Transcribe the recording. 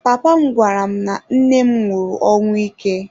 Papa m gwara m na nne m nwụrụ ọnwụ ike.